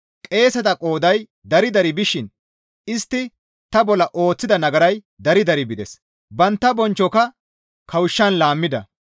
Qeeseta qooday dari dari bishin istti ta bolla ooththida nagaray dari dari bides; bantta bonchchoka kawushshan laammida.